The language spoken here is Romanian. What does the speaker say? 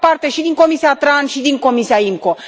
Eu fac parte și din Comisia TRAN, și din Comisia IMCO.